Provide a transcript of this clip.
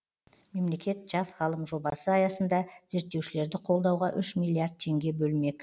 мемлекет жас ғалым жобасы аясында зерттеушілерді қолдауға үш миллиард теңге бөлмек